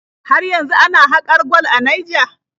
Har yanzu ana haƙar gwal a Naija?